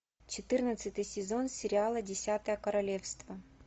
четырнадцатый сезон сериала десятое королевство